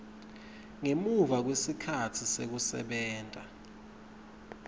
ngemuva kwetikhatsi tekusebenta